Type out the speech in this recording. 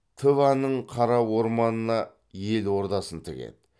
тываның қара орманына ел ордасын тігеді